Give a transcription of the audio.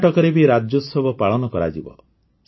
କର୍ଣ୍ଣାଟକରେ ବି ରାଜ୍ୟୋତ୍ସବ ପାଳନ କରାଯିବ